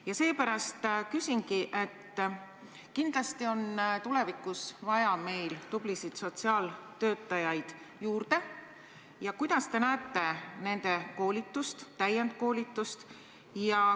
Ja seepärast küsingi, et kuna kindlasti on tulevikus tublisid sotsiaaltöötajaid juurde vaja, siis kuidas võiks korraldada nende koolitust ja täiendkoolitust.